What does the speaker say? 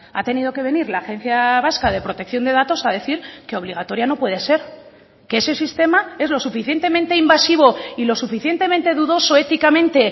ha tenido que venir la agencia vasca de protección de datos a decir que obligatoria no puede ser que ese sistema es lo suficientemente invasivo y lo suficientemente dudoso éticamente